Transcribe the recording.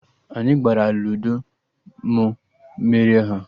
Anyị gbara Luudo, mụ merie ha